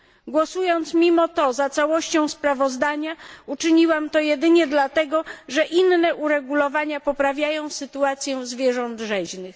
Głosując mimo to za całością sprawozdania uczyniłam to jedynie dlatego, że inne uregulowania poprawiają sytuację zwierząt rzeźnych.